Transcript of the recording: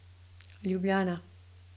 Ljubljana.